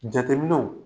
Jateminɛw